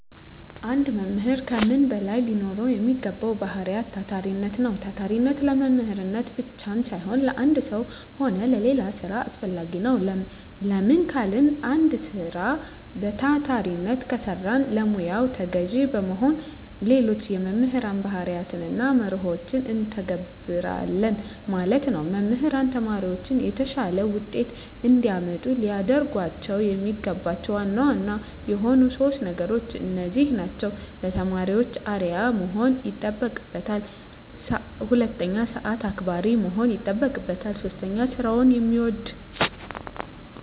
አንድ መምህር ከምንም በላይ ሊኖረዉ የሚገባዉ ባህሪይ ታታሪነት ነዉ። ታታሪነት ለመምህርነት ብቻም ሳይሆን ለአንድ ስራ ሆነ ለሌላ ስራ አስፈላጊ ነዉ። ለምን ካልን አንድ ስራ በታታሪነት ከሰራን ለሙያዉ ተገዢ በመሆን ሌሎች የመምህር ባህርያትንና መርሆችን እንተገብረለን ማለት ነዉ። መምህራን ተማሪዎቻቸውን የተሻለ ዉጤት እንዲያመጡ ሊያደርጓቸዉ የሚገባቸዉ ዋና ዋና የሆኑት 3 ነገሮች እነዚህ ናቸዉ። 1. ለተማሪዎች አርዕያ መሆን ይጠበቅበታል። 2. ሰአት አክባሪ መሆን ይጠበቅበታል። 3. ስራዉን የሚወድ።